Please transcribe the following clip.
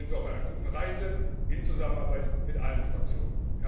Da sind wir auf einer guten Reise in Zusammenarbeit mit allen Fraktionen.